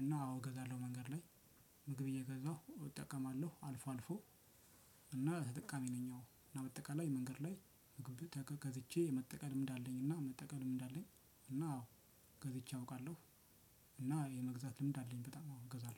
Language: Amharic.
እና አዎ እገዛለሁ መንገድ ላይ። ምግብ እየገዛሁ እጠቀማለሁ አልፎ አልፎ። እና ተጠቃሚ ነኝ። ያው እና በአጠቃላይ መንገድ ላይ ምግብ ተገዝቼ መጠቀም ልምድ አለኝ። እና መጠቀም ልምድ አለኝ። እና አዎ ገዝቼ አውቃለሁ። እና የመግዛት ልምድ አለኝ። በጣም አዎ አገዛለሁ።